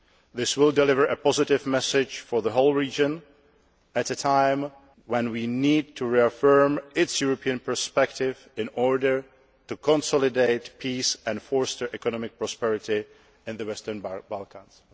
This will deliver a positive message for the whole region at a time when we need to reaffirm its European perspective in order to consolidate peace and foster economic prosperity in the Western Balkans.